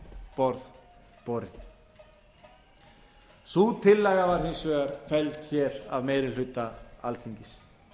borð borin sú tillaga var hins vegar felld hér af meiri hluta alþingis